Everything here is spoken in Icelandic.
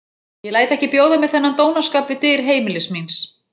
Ég læt ekki bjóða mér þennan dónaskap við dyr heimilis míns.